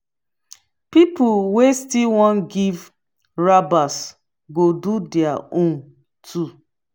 pipol wey still wan giv rabas go do their own too